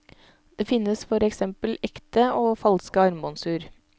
Det finnes for eksempel ekte og falske armbåndsur.